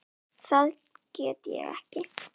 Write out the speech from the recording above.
Það get ég ekki